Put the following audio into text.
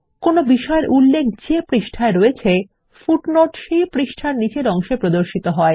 কোন বিষয়ের উল্লেখ যে পৃষ্ঠায় হয়েছে পাদটীকা সেই পৃষ্ঠার নীচের অংশে প্রদর্শিত হয়